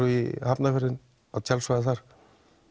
í Hafnarfjörð á tjaldsvæðið þar